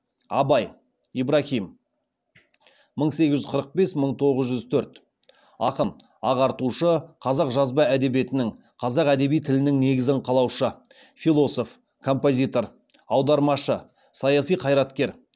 абай ақын ағартушы қазақ жазба әдебиетінің қазақ әдеби тілінің негізін қалаушы философ композитор аудармашы саяси қайраткер